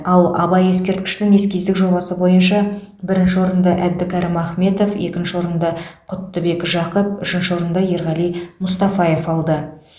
ал абай ескерткішінің эскиздік жобасы бойынша бірінші орынды әбдікәрім ахметов екінші орынды құттыбек жақып үшінші орынды ерғали мұстафаев алды